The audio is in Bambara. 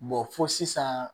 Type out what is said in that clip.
fɔ sisan